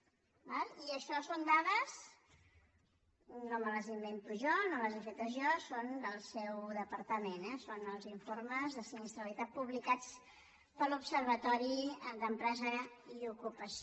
d’acord i això són dades no me les invento jo no les he fetes jo del seu departament eh són els informes de sinistralitat publicats per l’observatori d’empresa i ocupació